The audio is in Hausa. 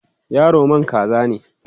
yaro man kaza ne?